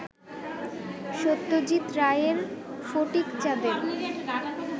সত্যজিৎ রায়ের ফটিকচাঁদের